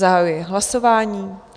Zahajuji hlasování.